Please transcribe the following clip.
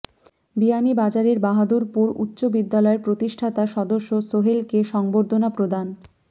বিয়ানীবাজারের বাহাদুরপুর উচ্চ বিদ্যালয়ের প্রতিষ্ঠাতা সদস্য সোহেলকে সংবর্ধনা প্রদান